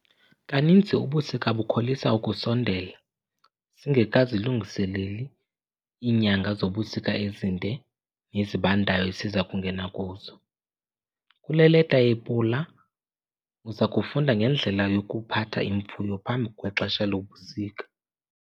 Kaninzi ubusika bukholisa ukusondela singekazilungiseleli iinyanga zobusika ezinde nezibandayo esiza kungena kuzo. Kule leta yePula uza kufunda ngendlela yokuphatha imfuyo phambi kwexesha lobusika.